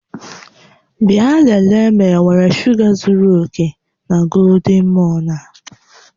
Bịa lelee ma enwere shuga zuru oke na golden morn a